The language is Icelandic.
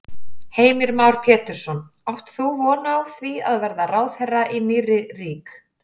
Heimir Már Pétursson: Átt þú von á því að verða ráðherra í nýrri rík?